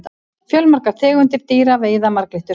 fjölmargar tegundir dýra veiða marglyttur